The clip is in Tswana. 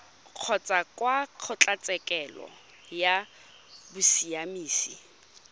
kgotsa kwa kgotlatshekelo ya bosiamisi